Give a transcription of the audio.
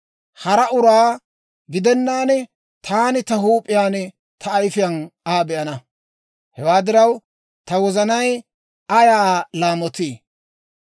Hara uraa gidennaan, taani ta huup'iyaan, ta ayifiyaan Aa be'ana. Hewaa diraw, ta wozanay ayaa laamotii!